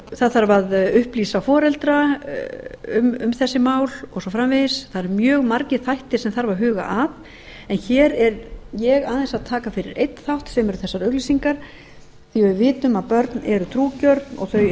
það þarf að upplýsa foreldra um þessi mál og svo framvegis það eru mjög margir þættir sem þarf að huga að en hér er ég aðeins að taka fyrir einn þátt sem eru þessar auglýsingar því við vitum að börn eru trúgjörn og